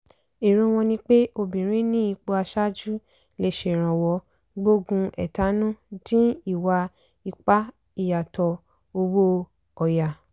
èrò wọn ni pé obìnrin ní ipò aṣáájú lè ṣèrànwọ́ gbógun ẹ̀tanú dín ìwà ipá ìyàtọ̀ owó ọ̀yà.